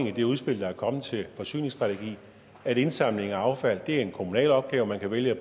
i det udspil der er kommet til forsyningsstrategi at indsamling af affald er en kommunal opgave man kan vælge